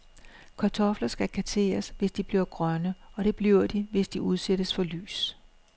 Kartofler skal kasseres, hvis de bliver grønne, og det bliver de, hvis de udsættes for lys.